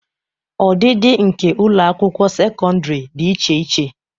Ọdịdị nke ụlọ akwụkwọ sekọndrị dị iche iche..